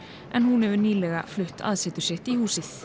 en hún hefur nýlega flutt aðsetur sitt í húsið